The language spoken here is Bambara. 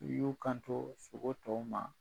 U y'u kanto sogo tɔw ma.